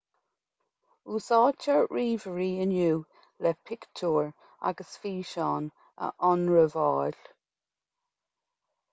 úsáidtear ríomhairí inniu le pictiúir agus físeáin a ionramháil